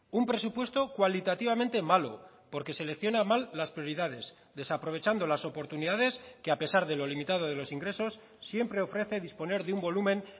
un presupuesto cualitativamente malo porque selecciona mal las prioridades desaprovechando las oportunidades que a pesar de lo limitado de los ingresos siempre ofrece disponer de un volumen